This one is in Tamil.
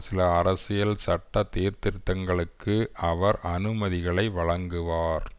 சில அரசியல் சட்ட சீர்திருத்தங்களுக்கு அவர் அனுமதிகளை வழங்குவார்